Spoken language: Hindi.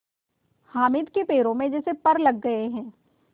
हामिद के पैरों में तो जैसे पर लग गए हैं